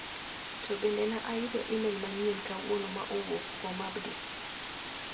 To bende na ayudo imel manyien kawuono ma owuok kuom Abdi?